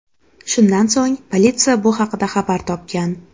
Shundan so‘ng, politsiya bu haqda xabar topgan.